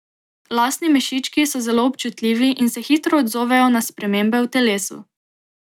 Lasni mešički so zelo občutljivi in se hitro odzovejo na spremembe v telesu.